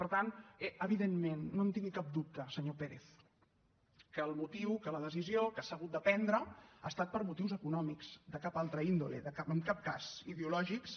per tant evidentment no en tingui cap dubte senyor pérez que la decisió que s’ha hagut de prendre ha estat per motius econòmics de cap altra índole en cap cas ideològics